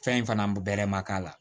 Fɛn in fana bɛlɛma k'a la